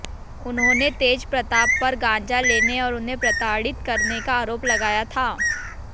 उन्होंने तेजप्रताप पर गांजा लेने और उन्हें प्रताड़ित करने का आरोप लगाया था